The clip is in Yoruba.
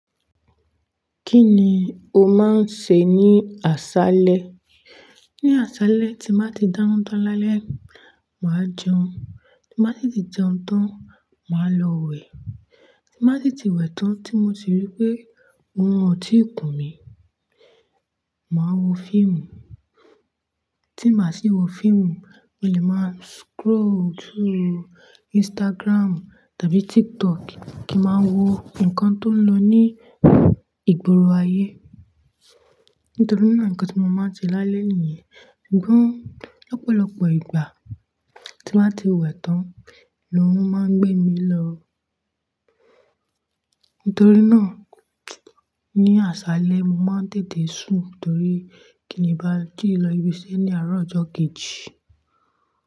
Kí ni o máa ń ṣe ní àṣaálẹ́? Ní àṣáalẹ́ tí màá ti dáná tán lálẹ́, màá jẹun, tí màá sì ti jẹun tán, màá lọ wẹ̀, tí màá sì ti wẹ̀ tán tí mo sì rí pé òrun ò tíì kùn mí, màá wo fíìmù. Tí mbá sì wo fíìmù, mo lè máa scroll through Instagram tàbí TikTok kí màá wo nǹkan tó ń lọ ní ìgboro ayé. Nítorí náà nǹkan tí mo máa ń ṣe lálẹ́ nìyẹn. Ṣùgbọ́n lọ́pọ̀lọpọ̀ ìgbà tí máa ti wẹ̀ tán lọrùn máa ń gbé mi lọ. Nítorí náà ní àṣaálẹ́ mo máa ń tètè sùn torí kín lébàá jí lọ ibiṣẹ́ ní àárọ̀ ọjọ́ kejì.